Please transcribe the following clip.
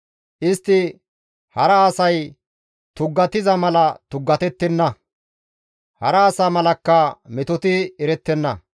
Istti hara asay tuggatiza mala tuggatettenna; hara asa malakka metoti erettenna.